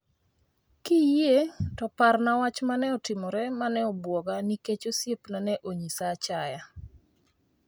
Kiyie to par wach mane otimore mane obuoga nikech osiepna ne onyisa achaya